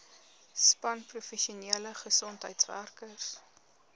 span professionele gesondheidswerkers